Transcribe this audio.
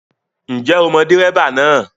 Ǹjẹ́ o mọ dẹ́ríbà náà?